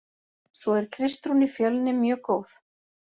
Svo er Kristrún í Fjölni mjög góð.